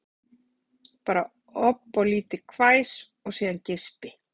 Bara ofboðlítið hvæs og síðan geispi